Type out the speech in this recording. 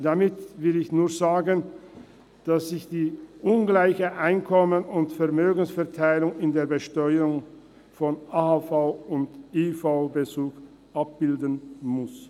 Damit will ich nur sagen, dass sich die ungleiche Einkommens- und Vermögensverteilung in der Besteuerung von AHV- und IV-Bezug abbilden muss.